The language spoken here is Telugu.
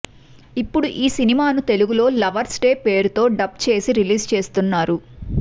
ఇప్పుడు ఈ సినిమాను తెలుగులో లవర్స్ డే పేరుతో డబ్ చేసి రిలీజ్ చేస్తున్నారు